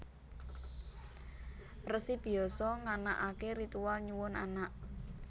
Resi Byasa nganakaké ritual nyuwun anak